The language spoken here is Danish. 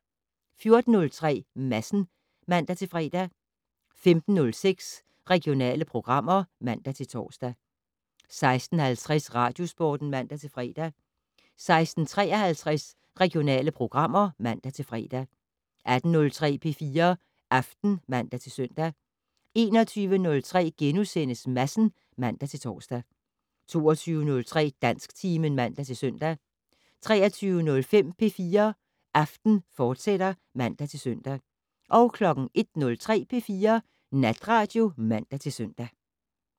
14:03: Madsen (man-fre) 15:06: Regionale programmer (man-tor) 16:50: Radiosporten (man-fre) 16:53: Regionale programmer (man-fre) 18:03: P4 Aften (man-søn) 21:03: Madsen *(man-tor) 22:03: Dansktimen (man-søn) 23:05: P4 Aften, fortsat (man-søn) 01:03: P4 Natradio (man-søn)